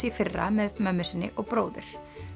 í fyrra með mömmu sinni og bróður